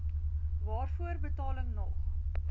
waarvoor betaling nog